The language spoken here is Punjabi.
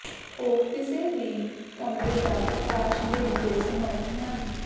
ਉਹ ਕਿਸੇ ਵੀ ਕਮਰੇ ਦਾ ਪ੍ਰਕਾਸ਼ ਦੇਣ ਦੇ ਸਮਰੱਥ ਹਨ